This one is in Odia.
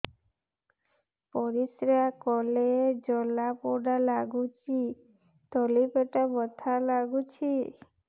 ପରିଶ୍ରା କଲେ ଜଳା ପୋଡା ଲାଗୁଚି ତଳି ପେଟ ବଥା ଲାଗୁଛି